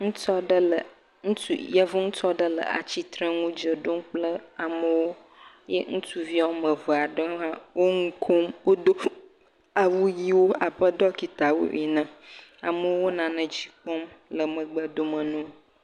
Ŋutsu aɖe, yevu ŋutsu aɖe le atsitre nu ɖe ɖom kple amewo ye ŋutsuvi woame eve aɖe hã wo nu kom. Wodo awu ʋiwo abe ɖɔkitawo ene. Amewo nane dzi kpɔm megbe dome na wo.s